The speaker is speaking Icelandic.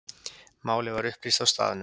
Málið var upplýst á staðnum.